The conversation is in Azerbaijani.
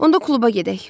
Onda kluba gedək.